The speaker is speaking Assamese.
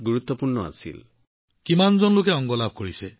অংগসমূহৰ জৰিয়তে কিমান জন লোক উপকৃত হৈছিল